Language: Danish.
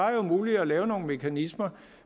er jo muligt at lave nogle mekanismer